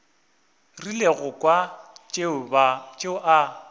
rile go kwa tšeo a